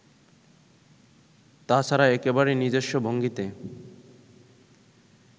তা ছাড়া একেবারে নিজস্ব ভঙ্গিতে